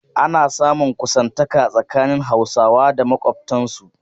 Ana samun kusantaka tsakanin Hausawa da makwabtansu.